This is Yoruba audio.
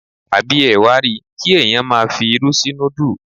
Àbí ẹ wa ri, kí ẹ̀yàn máa fi irú sí núdù.